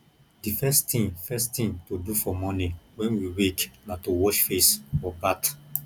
di first thing first thing to do for morning when we wake na to wash face or bath